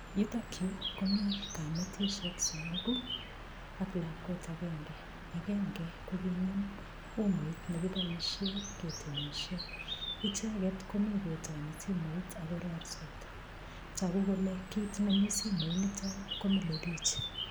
Yutokyu komi kametishek somoku ak lakwet agenge agenge kokinam umoit nekiboishe ketemishe icheget komi kotoni simoit akororitos toku kole kiit neminsimoit nito komilei biich